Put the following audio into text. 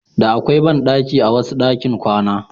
Da akwai banɗaki a wasu ɗakin kwana.